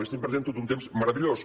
estem perdent tot un temps meravellós